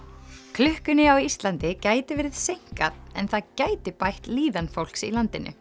klukkunni á Íslandi gæti verið seinkað en það gæti bætt líðan fólks í landinu